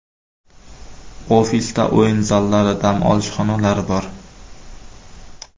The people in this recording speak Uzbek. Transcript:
Ofisda o‘yin zallari, dam olish xonalari bor.